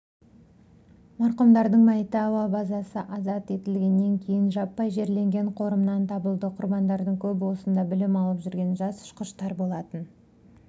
марқұмдардың мәйіті әуе базасы азат етілгеннен кейін жаппай жерленген қорымнан табылды құрбандардың көбі осында білім алып жүрген жас ұшқыштар болатын